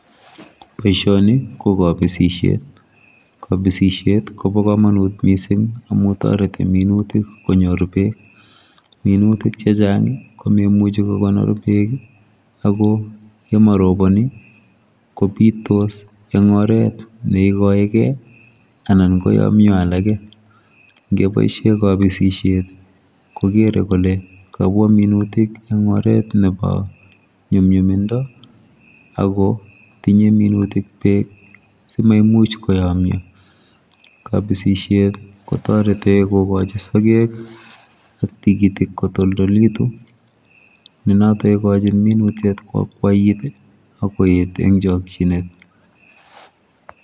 Boisioni ko kabisisiet , kabisisiet ko bo kamanuut missing amuun taretii minutik konyoor beek minutiik che chaang ko mamuchi ko konor beek ii ago ye marobani kobitos eng oret ne kaegei ii anan ko yaan Mii Yoon alakei kobaisheen kabisisiet ko Gere kole kabwa minutiik en oret nebo nyumnyumindo ago tinyei minutik beek simamuuch koyamyaa , kabisisiet kotaretii kigochiin sageg ak tikitiik kotoltolegituu ne notoon kokochin minutik koakwait ak koyeet eng chakyineet.